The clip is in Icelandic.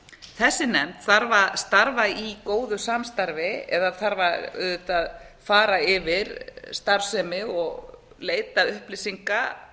þessi nefnd þarf að starfa í góðu samstarfi eða þarf auðvitað að fara yfir starfsemi og leita upplýsinga